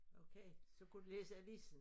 Okay så kunne du læse avisen